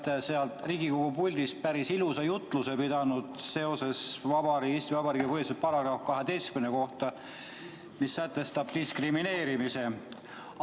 Te olete seal Riigikogu puldis päris ilusa jutluse pidanud Eesti Vabariigi põhiseaduse § 12 kohta, mis sätestab diskrimineerimise.